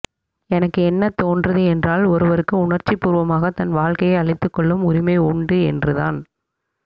எனக்கு என்ன தோன்றுது என்றால் ஒருவருக்கு உணர்ச்சிபூர்வமாக தன் வாழ்க்கையை அழித்துக்கொள்ளும் உரிமை உண்டு என்றுதான்